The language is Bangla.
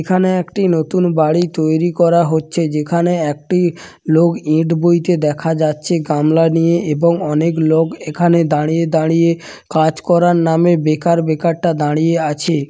এখানে একটি নতুন বাড়ি তৈরি করা হচ্ছে যেখানে একটি লোক ইট বইতে দেখা যাচ্ছে গামলা নিয়ে এবং অনেক লোক এখানে দাঁড়িয়ে দাঁড়িয়ে কাজ করার নামে বেকার বেকার টা দাঁড়িয়ে আছে ।